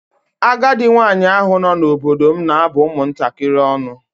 Agadi nwaanyị ahụ nọ n'obodo m na-abụ ụmụ ntakịrị ọnụ.